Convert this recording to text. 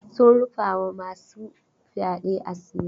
Sun rufa ma masu fyaɗe asiri.